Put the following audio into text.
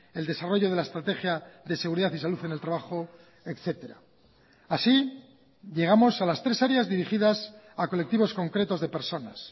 el desarrollo de la estrategia de seguridad y salud en el trabajo etcétera así llegamos a las tres áreas dirigidas a colectivos concretos de personas